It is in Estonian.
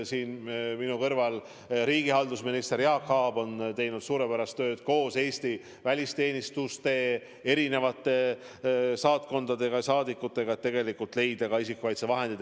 Siin minu kõrval istuv riigihalduse minister Jaak Aab on teinud suurepärast tööd koos Eesti välisteenistuste, erinevate saatkondade ja saadikutega, et hankida isikukaitsevahendeid.